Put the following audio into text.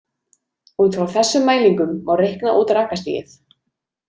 Út frá þessum mælingum má reikna út rakastigið.